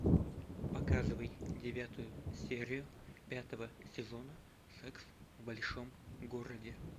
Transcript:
показывай девятую серию пятого сезона секс в большом городе